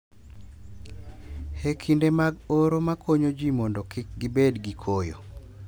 E kinde mag oro ma konyo ji mondo kik gibed gi koyo